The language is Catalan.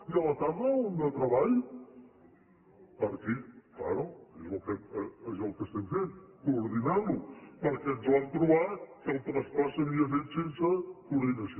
i a la tarda un de treball fent coordinar ho perquè ens vam trobar que el traspàs s’havia fet sense coordinació